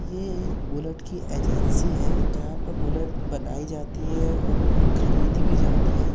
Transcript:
ये एक बुलेट की एजेंसी है जहां पर बुलेट बनाई जाती है और खरीदी भी जाती है।